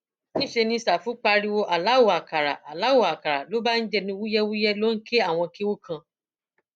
níṣẹ ní ṣáfù pariwo alau àkàrà alau àkàrà ló bá ń jẹnu wúyẹwúyẹ ló ń ké àwọn kéwu kan